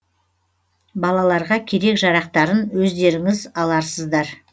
балаларға керек жарақтарын өздеріңіз аларсыздар